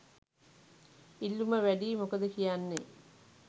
ඉල්ලුම වැඩියි මොකද කියන්නෙ?